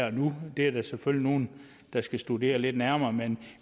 og nu det er der selvfølgelig nogle der skal studere lidt nærmere men